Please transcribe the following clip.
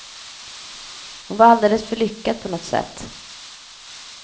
Hon var alldeles för lyckad på något sätt.